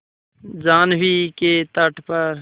जाह्नवी के तट पर